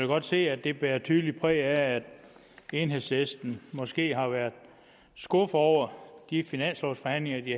godt se at det bærer tydeligt præg af at enhedslisten måske har været skuffet over de finanslovsforhandlinger de